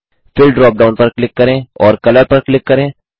fill drop down पर click करें और कलर पर क्लिक करें